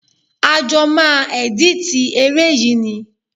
A jọ máa ẹ̀dítì eré yìí ni.